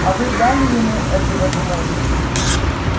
а вы дали ему эту возможность